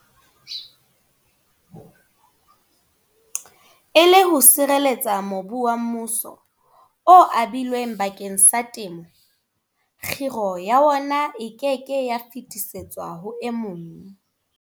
E le ho sireletsa mobu wa mmuso o abilweng bakeng sa temo, kgiro ya wona e ke ke ya fetisetswa ho e mong.